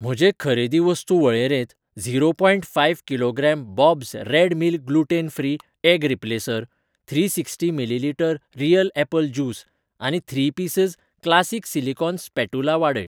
म्हजे खरेदी वस्तू वळेरेंत zero point five kilogram Bob's red mill gluten free egg replacer, three sixty millilitre real apple juice आनी three pieces classic silicone spatula वाडय.